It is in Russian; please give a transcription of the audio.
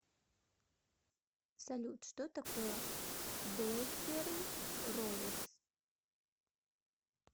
салют что такое блэкберн роверс